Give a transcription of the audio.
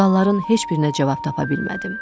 Sualların heç birinə cavab tapa bilmədim.